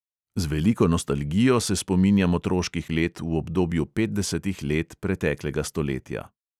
Z veliko nostalgijo se spominjam otroških let v obdobju petdesetih let preteklega stoletja.